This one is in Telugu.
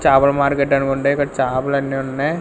చాపల మార్కెట్ అని ఉండే ఇక్కడ చాపలన్నీ ఉన్నాయ్.